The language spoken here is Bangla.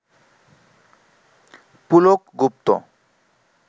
পুলক গুপ্ত